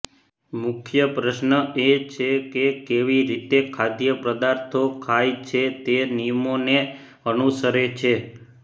મુખ્ય પ્રશ્ન એ છે કે કેવી રીતે ખાદ્યપદાર્થો ખાય છે તે નિયમોને અનુસરે છે